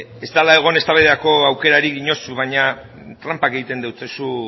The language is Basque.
ez dela egon eztabaidarako aukerarik diozu baina tranpak egiten dizkiozu